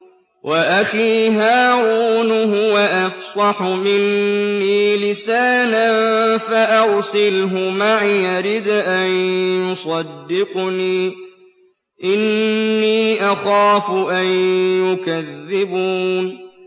وَأَخِي هَارُونُ هُوَ أَفْصَحُ مِنِّي لِسَانًا فَأَرْسِلْهُ مَعِيَ رِدْءًا يُصَدِّقُنِي ۖ إِنِّي أَخَافُ أَن يُكَذِّبُونِ